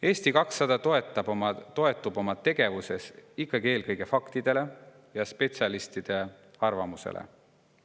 Eesti 200 toetub oma tegevuses ikkagi eelkõige faktidele ja spetsialistide arvamusele.